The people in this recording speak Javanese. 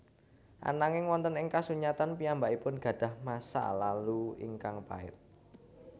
Ananging wonten ing kasunyatan piyambakipun gadah masa lalu ingkang pait